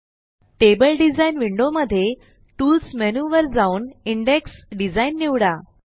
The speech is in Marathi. टेबल डिझाइन विंडोमध्ये टूल्स मेनूवर जाऊन इंडेक्स डिझाइन निवडा